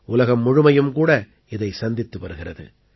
உலகம் முழுமையும் கூட இதைச் சந்தித்து வருகிறது